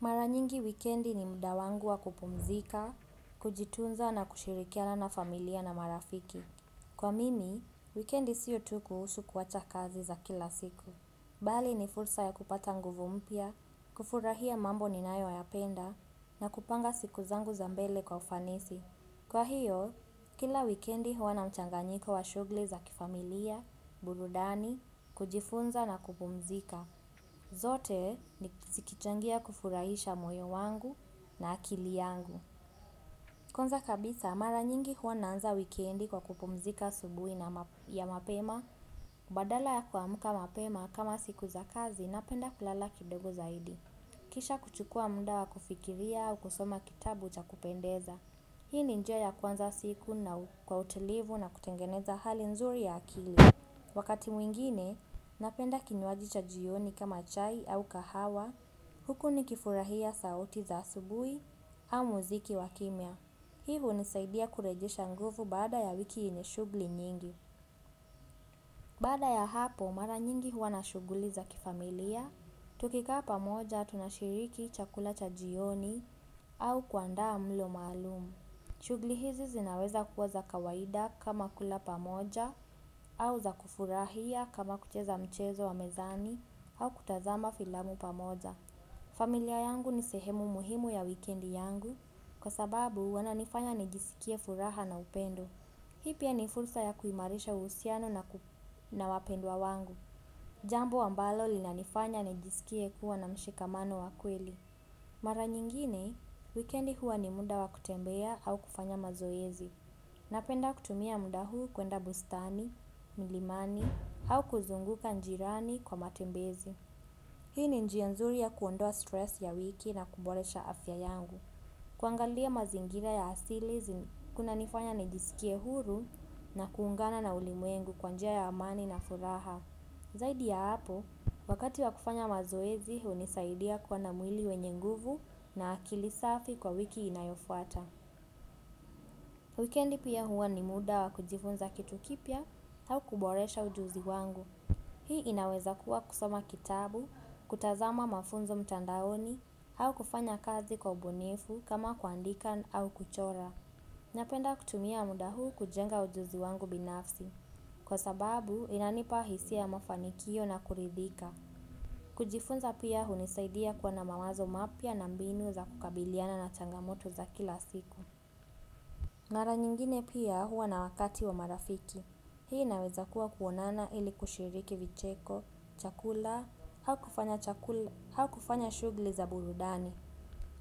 Mara nyingi wikendi ni muda wangu wa kupumzika, kujitunza na kushirikiana na familia na marafiki. Kwa mimi, wikendi sio tu kuhusu kuwacha kazi za kila siku. Bali ni fursa ya kupata nguvu mpya, kufurahia mambo ninayo yapenda na kupanga siku zangu za mbele kwa ufanisi. Kwa hiyo, kila wikendi huwa na mchanganyiko wa shughli za kifamilia, burudani, kujifunza na kupumzika. Zote sikichangia kufurahisha moyo wangu na akili yangu. Kwanza kabisa, mara nyingi huwa naanza wikendi kwa kupumzika subuhi ya mapema. Badala ya kuamuka mapema kama siku za kazi napenda kulala kidogo zaidi. Kisha kuchukua muda wa kufikiria au kusoma kitabu chakupendeza. Hii ni njia ya kuanza siku na kwa utulivu na kutengeneza hali nzuri ya akili. Wakati mwingine, napenda kinywaji cha jioni kama chai au kahawa, huku nikifurahia sauti za asubui au muziki wakimia. Hii unisaidia kurejisha nguvu bada ya wiki yenye shugli nyingi. Baada ya hapo, mara nyingi huwa na shuguli za kifamilia, tukikaa pamoja tunashiriki chakula cha jioni au kuandaa mlo malumu. Shughuli hizi zinaweza kuwa za kawaida kama kula pamoja au za kufurahia kama kucheza mchezo wa mezani au kutazama filamu pamoja. Familia yangu ni sehemu muhimu ya wikendi yangu kwa sababu wananifanya nijisikie furaha na upendo. Hii pia ni fursa ya kuimarisha uhusiano na wapendwa wangu. Jambo ambalo lina nifanya nijisikie kuwa na mshikamano wa kweli. Mara nyingine, weekendi huwa ni muda wa kutembea au kufanya mazoezi. Napenda kutumia muda huu kwenda bustani, milimani au kuzunguka njirani kwa matembezi. Hii ni njia nzuri ya kuondoa stress ya wiki na kuboresha afya yangu. Kuangalia mazingira ya asili, kuna nifanya nijisikie huru na kuungana na ulimwengu kwa njia ya amani na furaha. Zaidi ya hapo, wakati wa kufanya mazoezi hunisaidia kuwa na mwili wenye nguvu na akili safi kwa wiki inayofuata. Wikendi pia huwa ni muda wa kujifunza kitu kipya au kuboresha ujuzi wangu. Hii inaweza kuwa kusoma kitabu, kutazama mafunzo mtandaoni au kufanya kazi kwa ubunifu kama kuandika au kuchora. Napenda kutumia muda huu kujenga ujuzi wangu binafsi. Kwa sababu inanipa hisia ya mafanikio na kuridhika. Kujifunza pia hunisaidia kuwa na mawazo mapya na mbinu za kukabiliana na changamoto za kila siku. Mara nyingine pia huwa na wakati wa marafiki. Hii naweza kuwa kuonana ili kushiriki vicheko, chakula, hau kufanya shughli za burudani.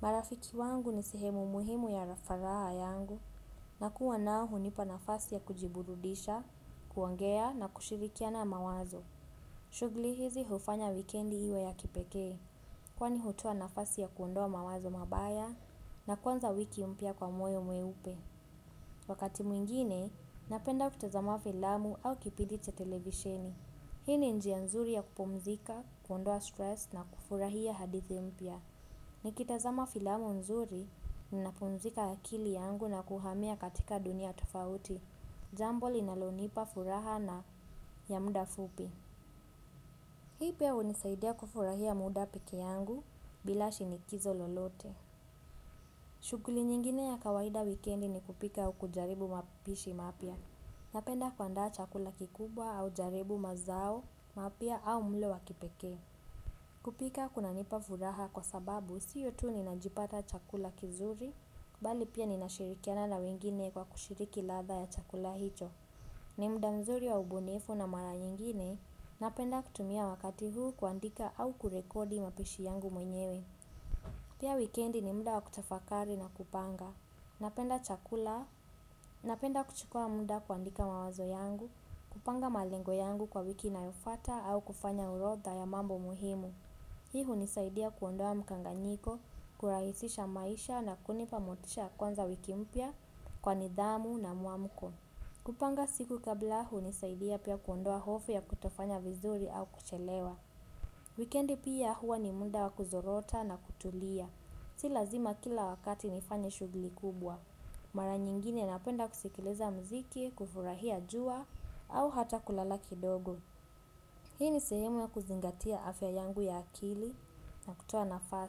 Marafiki wangu ni sehemu muhimu ya rafaraa yangu. Na kuwa nao hunipa nafasi ya kujiburudisha, kuongea na kushirikina na mawazo. Shughuli hizi hufanya wikendi iwe ya kipekee. Kwani hutoa nafasi ya kuondoa mawazo mabaya na kuanza wiki mpya kwa moyo mweupe. Wakati mwingine, napenda kutazama filamu au kipindii cha televisheni. Hii ni njia nzuri ya kupumzika, kuondoa stress na kufurahia hadithi mpya. Nikitazama filamu nzuri, ninapumzika akili yangu na kuhamia katika dunia tofauti. Jambo linalonipa furaha na ya muda fupi. Hii pia unisaidia kufurahia muda peke yangu bila shinikizo lolote. Shughuli nyingine ya kawaida weekendi ni kupika ua kujaribu mapishi mapya. Napenda kuanda chakula kikubwa au jaribu mazao mapya au mlo wa kipeke. Kupika kunanipa furaha kwa sababu sio tu ninajipata chakula kizuri bali pia ninashirikiana na wengine kwa kushiriki ladha ya chakula hicho. Ni muda mzuri wa ubunifu na mara nyingine napenda kutumia wakati huu kuandika au kurekodi mapishi yangu mwenyewe. Pia weekendi ni muda wa kutafakari na kupanga. Napenda kuchukua muda kuandika mawazo yangu. Kupanga malengo yangu kwa wiki inayofuata au kufanya urodha ya mambo muhimu. Hii hunisaidia kuondoa mkanganyiko, kurahisisha maisha na kunipa motisha ya kuanza wiki mpya kwa nidhamu na muamuko. Kupanga siku kabla hunisaidia pia kuondoa hofu ya kutofanya vizuri au kuchelewa. Weekendi pia huwa ni muda wakuzorota na kutulia. Si lazima kila wakati nifanye shughuli kubwa. Mara nyingine napenda kusikiliza muziki, kufurahia jua au hata kulala kidogo. Hii ni sehemu ya kuzingatia afya yangu ya akili na kutua nafaa.